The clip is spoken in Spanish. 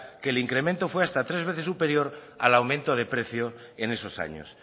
que el incremento fue de hasta tres veces superior al aumento de precio en esos años